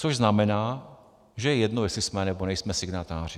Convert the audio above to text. Což znamená, že je jedno, jestli jsme, nebo nejsme signatáři.